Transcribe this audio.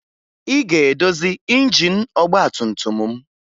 Ị ga-edozi injin ọgbatumtum m!